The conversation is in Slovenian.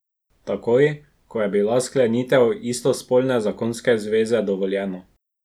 Takoj ko je bila sklenitev istospolne zakonske zveze dovoljena.